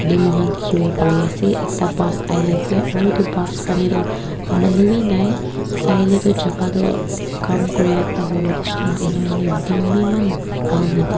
moikhan dikhibo pare ase Ekta bus ahi ase aru etu bus fahne tu manu bhi nai saile tu jaga tu kam kuri ekta hobo nisna ena hoina din bhi eman bhal ni d--